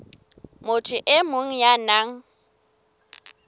motho e mong ya nang